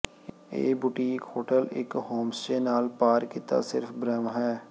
ਇਹ boutique hotel ਇੱਕ homestay ਨਾਲ ਪਾਰ ਕੀਤਾ ਸਿਰਫ਼ ਬ੍ਰਹਮ ਹੈ